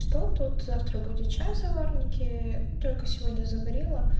что тут завтра будет чай в заварнике только сегодня заварила